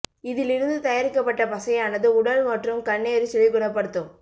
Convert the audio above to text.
இதில் இருந்து தயாரிக்கப்பட்ட பசையானது உடல் மற்றும் கண் எரிச்சலை குணப்படுத்தும்